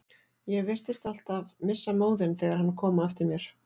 Ég virtist alltaf missa móðinn þegar hann kom á eftir mér.